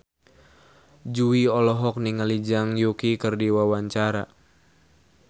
Jui olohok ningali Zhang Yuqi keur diwawancara